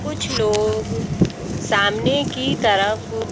कुछ लोग सामने की तरफ--